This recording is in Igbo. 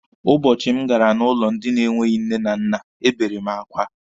Ụbọchị m gara n'ụlọ ndị na-enweghi nne na nna, ebere m akwa.